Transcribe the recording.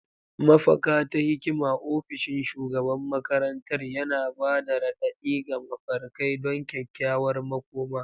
Mafaka ta hikima, ofishin shugaban makarantar, yana ba da raɗaɗi ga mafarkai don kyakkyawar makoma.